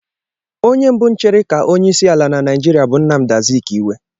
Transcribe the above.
Onye mbụ chịrị ka onyeisiala na Naijiria bụ Nnamdi Azikiwe.